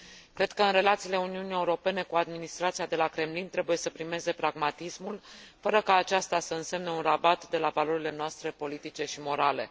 Cred că în relațiile Uniunii Europene cu administrația de la Kremlin trebuie să primeze pragmatismul, fără ca aceasta să însemne un rabat de la valorile noastre politice și morale.